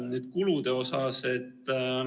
Nüüd kuludest.